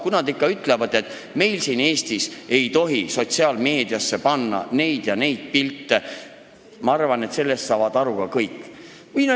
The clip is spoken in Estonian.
Kui nad ikka ütlevad, et meil siin Eestis ei tohi sotsiaalmeediasse panna neid ja neid pilte, siis, ma arvan, saavad kõik sellest aru.